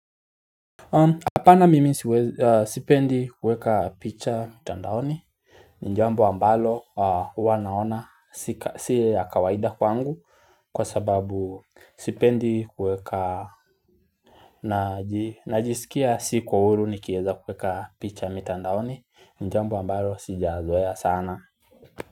Hapana mimi sipendi kueka picha mtandaoni ni jambo ambalo huwa naona si ya kawaida kwangu kwa sababu sipendi kueka. Najisikia siko uhuru nikieza kueka picha mitandaoni ni jambo ambalo sijazoea sana.